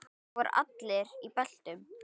Þar voru allir í beltum.